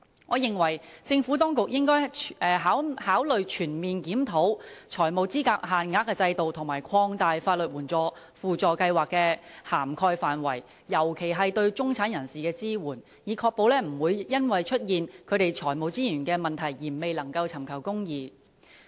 我認為政府當局應該考慮全面檢討財務資格限額的制度，並擴大法律援助輔助計劃的涵蓋範圍，尤其是對中產人士的支援，以確保他們不會因為財務資源的問題而未能尋求公義。